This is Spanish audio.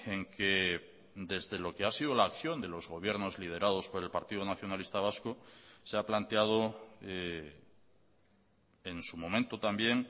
en que desde lo que ha sido la acción de los gobiernos liderados por el partido nacionalista vasco se ha planteado en su momento también